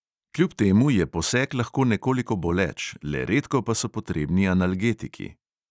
Kljub temu je poseg lahko nekoliko boleč, le redko pa so potrebni analgetiki.